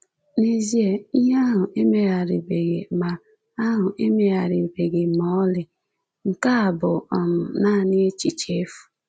N'ezie, ìhè ahụ emegharịbeghị ma ahụ emegharịbeghị ma ọlị; Nke a bụ um naanị echiche efu.